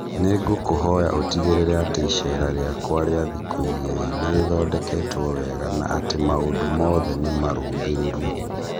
Nĩ ngũkũhoya ũtigĩrĩre atĩ iceera rĩakwa rĩa thikũ igĩrĩ nĩ rĩthondeketwo wega na atĩ maũndũ mothe nĩ marũngĩrĩru